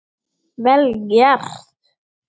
Vel gert.